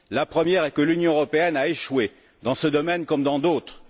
Premièrement, l'Union européenne a échoué dans ce domaine comme dans d'autres.